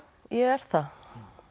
er það